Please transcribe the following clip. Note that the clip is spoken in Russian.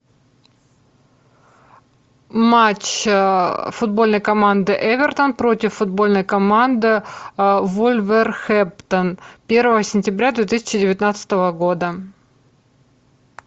матч футбольной команды эвертон против футбольной команды вулверхэмптон первого сентября две тысячи девятнадцатого года